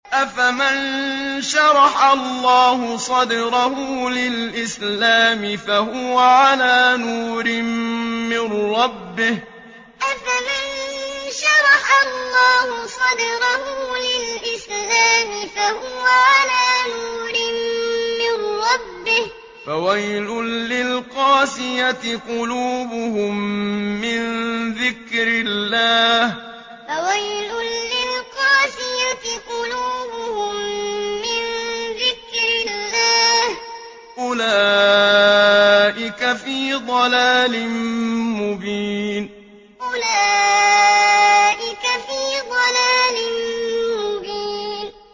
أَفَمَن شَرَحَ اللَّهُ صَدْرَهُ لِلْإِسْلَامِ فَهُوَ عَلَىٰ نُورٍ مِّن رَّبِّهِ ۚ فَوَيْلٌ لِّلْقَاسِيَةِ قُلُوبُهُم مِّن ذِكْرِ اللَّهِ ۚ أُولَٰئِكَ فِي ضَلَالٍ مُّبِينٍ أَفَمَن شَرَحَ اللَّهُ صَدْرَهُ لِلْإِسْلَامِ فَهُوَ عَلَىٰ نُورٍ مِّن رَّبِّهِ ۚ فَوَيْلٌ لِّلْقَاسِيَةِ قُلُوبُهُم مِّن ذِكْرِ اللَّهِ ۚ أُولَٰئِكَ فِي ضَلَالٍ مُّبِينٍ